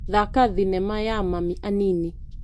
Thaka thinema ya Mami Anini.